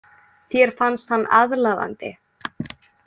Þér fannst hann aðlaðandi.